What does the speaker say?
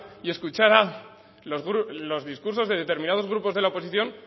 y escuchara los discursos de determinados grupos de la oposición